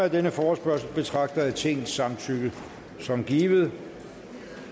af denne forespørgsel betragter jeg tingets samtykke som givet